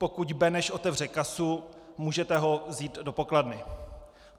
Pokud Beneš otevře kasu, můžete ho vzít do pokladny.